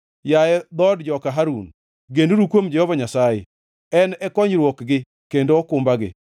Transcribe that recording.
Yaye dhood joka Harun, genuru kuom Jehova Nyasaye, En e konyruokgi kendo okumbagi.